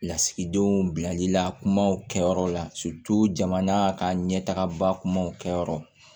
Lasigidenw bilalila kumaw kɛyɔrɔ la jamana ka ɲɛtagabaw kɛ yɔrɔ